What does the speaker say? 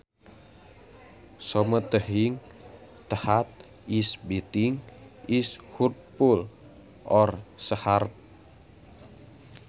Something that is biting is hurtful or sharp